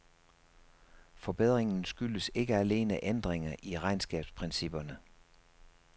Forbedringen skyldes ikke alene ændringer i regnskabsprincipperne.